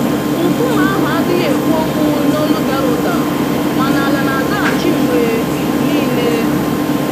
Nkume ahụ adịghị ekwu okwu n'olu dara ụda, mana ala na-azaghachi mgbe niile.